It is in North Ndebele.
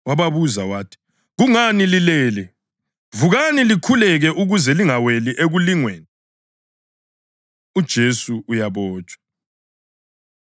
Wababuza wathi, “Kungani lilele na? Vukani likhuleke ukuze lingaweli ekulingweni.” UJesu Uyabotshwa